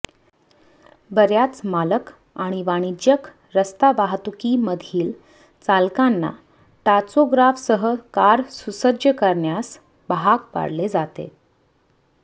बर्याच मालक आणि वाणिज्यिक रस्ता वाहतुकीमधील चालकांना टाचोग्राफसह कार सुसज्ज करण्यास भाग पाडले जाते